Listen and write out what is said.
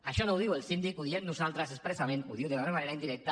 això no ho diu el síndic ho diem nosaltres expressament ho diu d’una manera indirecta